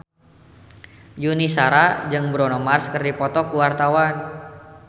Yuni Shara jeung Bruno Mars keur dipoto ku wartawan